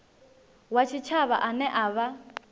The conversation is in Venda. wa tshitshavha ane a vha